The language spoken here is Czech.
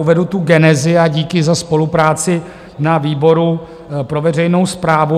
Uvedu tu genezi a díky za spolupráci na výboru pro veřejnou správu.